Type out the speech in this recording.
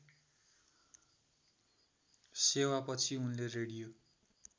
सेवापछि उनले रेडियो